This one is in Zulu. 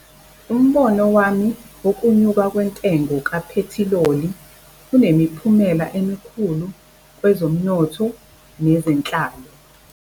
Umbono wami wokunyuka kwentengo kaphethiloli, kunemiphumela emikhulu kwezomnotho nezenhlalo.